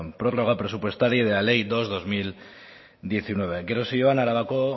prórroga presupuestaria y de la ley bi barra bi mila hemeretzi gero zioan arabako